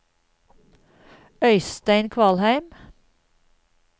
Øystein Kvalheim